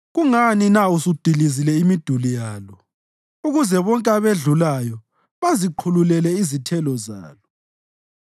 Kungani na usudilize imiduli yalo ukuze bonke abedlulayo baziqhululele izithelo zalo?